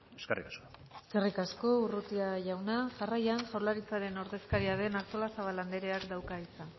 eskerrik asko eskerrik asko urrutia jauna jarraian jaurlaritzaren ordezkaria den artolazabal andreak dauka hitza